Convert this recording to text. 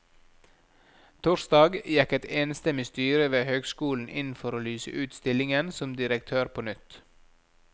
Torsdag gikk et enstemmig styre ved høgskolen inn for å lyse ut stillingen som direktør på nytt.